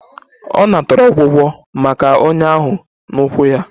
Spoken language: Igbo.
Ọ natara ọgwụgwọ maka ọnyá ahụ n'ụkwụ ya?